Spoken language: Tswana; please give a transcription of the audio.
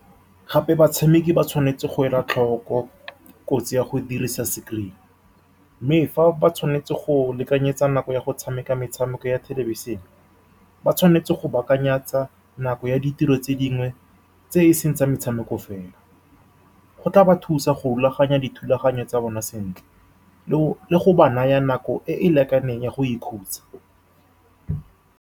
Gape, batshameki ba tshwanetse go ela tlhoko kotsi ya go dirisa screen-e, mme fa ba tshwanetse go lekanyetsa nako ya go tshameka metshameko ya thelebišene. Ba tshwanetse go baakanyetsa nako ya ditiro tse dingwe tse e seng tsa metshameko fela. Seno se tla ba thusa go rulaganya dithulaganyo tsa bona sentle, le go ba naya nako e e lekaneng ya go ikhutsa.